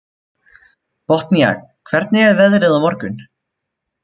Botnía, hvernig er veðrið á morgun?